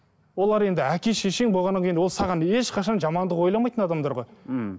олар енді әке шешең болғаннан кейін ол саған ешқашан жамандық ойламайтын адамдар ғой мхм